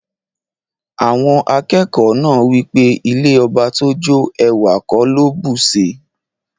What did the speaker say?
Awon akeko naa wipe ilẹ̀ ọbà tó jó, èwà kò ló bùṣí.